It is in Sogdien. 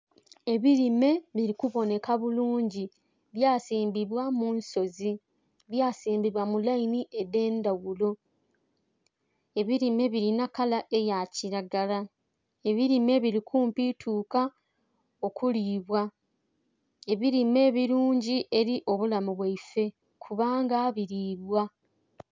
Ebirime biri kuboneka bulungi byasimbibwa munsozi, byasimbibwa mulaini edhendhaghulo. Ebirime birina kala eyakiragala, ebirime birikumpi tuka okulibwa, ebirime birungi eri obulamu bwaife kubanga biribwa.